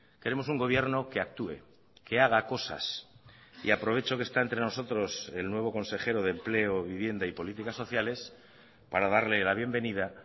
queremos un gobierno que actúe que haga cosas y aprovecho que está entre nosotros el nuevo consejero de empleo vivienda y políticas sociales para darle la bienvenida